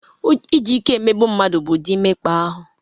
Iji ike emegbu mmadụ bụ ụdị mmekpa ahụ.